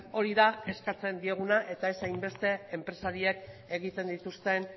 hori da eskatzen dioguna eta ez hainbeste enpresariek egiten dituzten